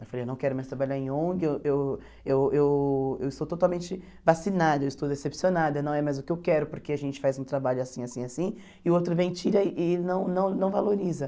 Eu falei, eu não quero mais trabalhar em ONG, eu eu eu eu eu estou totalmente vacinada, eu estou decepcionada, não é mais o que eu quero, porque a gente faz um trabalho assim, assim, assim, e o outro vem e tira e não não não valoriza.